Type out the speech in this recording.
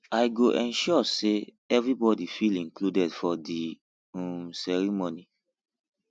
i go ensure say everybody feel included for di um ceremony